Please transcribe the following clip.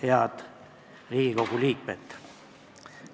Head Riigikogu liikmed!